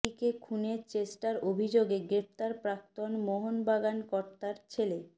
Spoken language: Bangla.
স্ত্রীকে খুনের চেষ্টার অভিযোগে গ্রেফতার প্রাক্তন মোহনবাগান কর্তার ছেলে